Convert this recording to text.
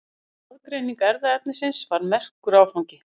Raðgreining erfðaefnisins var merkur áfangi.